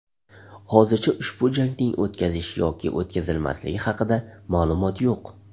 Hozircha ushbu jangning o‘tkazish yoki o‘tkazilmasligi haqida ma’lumot yo‘q.